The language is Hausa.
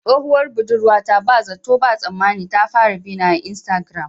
Tsohuwar budurwata ba zato ba tsammani ta fara bina a iastagram